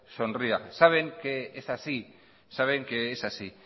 sonría saben que es así saben que es así